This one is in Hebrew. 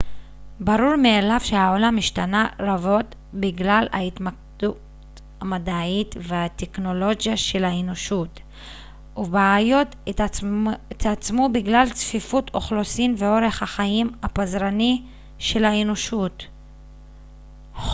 ברור מאליו שהעולם השתנה רבות בגלל ההתקדמות המדעית והטכנולוגית של האנושות ובעיות התעצמו בגלל צפיפות אוכלוסין ואורח החיים הפזרני של האנושות